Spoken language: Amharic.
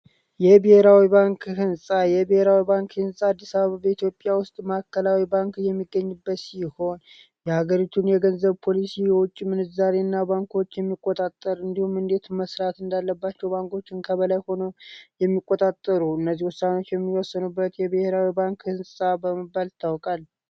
የብሔራዊ ባንክ ሕንፃ የብሔራዊ ባንክ ሕንፃ በአዲስ አበባ ኢትዮጵያ ውስጥ ማከላዊ ባንክ የሚገኝበት ሲህ ይሆን የሀገሪቱን የገንዘብ ፖሊሲ የውጪ ምንዛሪ እና ባንኮች የሚቆጣጠር እንዲሁም እንዴት መስራት እንዳለባቸው ባንኮችን ከበላይ ሆኖ የሚቆጣጠሩ እነዚህ ውሳኖች የሚወሰኑበት የብሔራዊ ባንክ ሕንፃ በመባል ታወቃል።